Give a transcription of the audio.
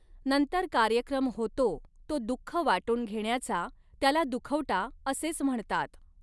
नंतर कार्यक्रम होतो तो दुःख वाटुन घेण्याचा त्याला 'दुखवटा' असेच म्हणतात.